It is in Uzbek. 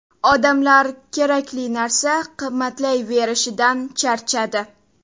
Odamlar kerakli narsa qimmatlayverishidan charchadi.